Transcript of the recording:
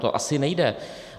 To asi nejde.